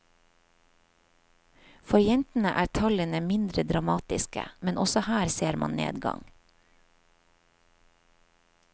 For jentene er tallene mindre dramatiske, men også her ser man nedgang.